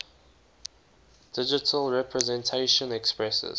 digital representation expresses